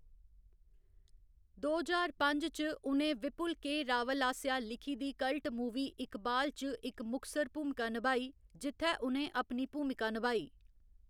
दो ज्हार पंज च, उ'नें विपुल दे रावल आस्सेआ लिखी दी कल्ट मूवी इकबाल च इक मुखसर भूमिका नभाई, जित्थै उ'नें अपनी भूमिका नभाई।